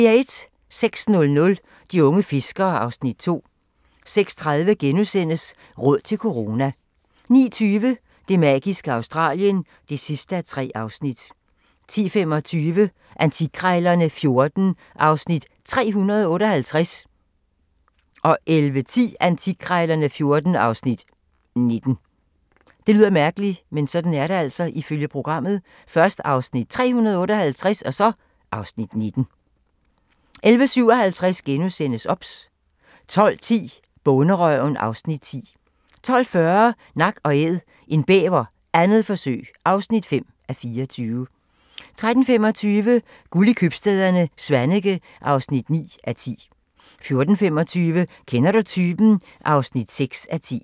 06:00: De unge fiskere (Afs. 2) 06:30: Råd til corona * 09:20: Det magiske Australien (3:3) 10:25: Antikkrejlerne XIV (Afs. 358) 11:10: Antikkrejlerne XIV (Afs. 19) 11:57: OBS * 12:10: Bonderøven (Afs. 10) 12:40: Nak & Æd – en bæver, 2. forsøg (5:24) 13:25: Guld i købstæderne - Svaneke (9:10) 14:25: Kender du typen? (6:10)